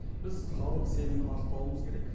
біз халық сенімін ақтауымыз керек